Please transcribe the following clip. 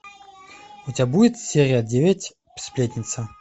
у тебя будет серия девять сплетница